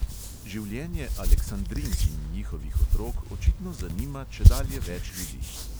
Življenje aleksandrink in njihovih otrok očitno zanima čedalje več ljudi.